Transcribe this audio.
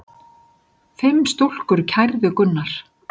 Fimm stúlkur kærðu Gunnar.